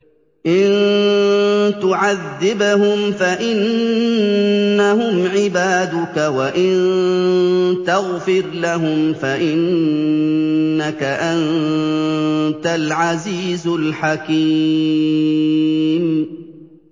إِن تُعَذِّبْهُمْ فَإِنَّهُمْ عِبَادُكَ ۖ وَإِن تَغْفِرْ لَهُمْ فَإِنَّكَ أَنتَ الْعَزِيزُ الْحَكِيمُ